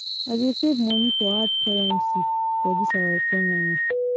I dey save moni for hard currency for dis our economy.